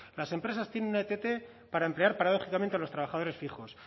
las empresas tiene una ett para emplear paradójicamente a los trabajadores fijos